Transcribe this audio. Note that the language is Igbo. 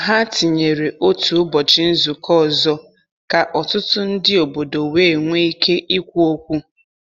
Ha tinyere otu ụbọchị nzukọ ọzọ ka ọtụtụ ndị obodo wee nwee ike ikwu okwu.